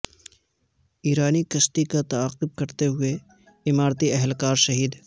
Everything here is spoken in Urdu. ایرانی کشتی کا تعاقب کرتے ہوئے اماراتی اہلکار شہید